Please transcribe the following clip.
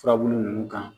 Furabulu ninnu kan